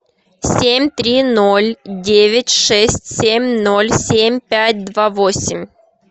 семь три ноль девять шесть семь ноль семь пять два восемь